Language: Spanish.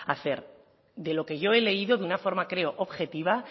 hacer de lo que yo he leído de una forma creo objetiva